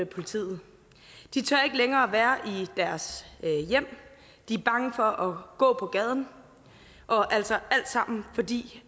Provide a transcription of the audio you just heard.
politiet de tør ikke længere være i deres hjem de er bange for at gå på gaden og altså alt sammen fordi